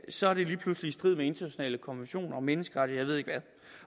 så er det lige pludselig i strid med internationale konventioner og menneskerettigheder